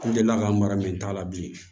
N delila ka an mara min ta la bi